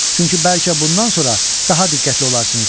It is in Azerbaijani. Çünki bəlkə bundan sonra daha diqqətli olarsınız.